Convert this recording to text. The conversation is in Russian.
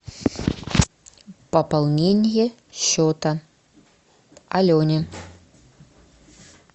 пополнение счета алене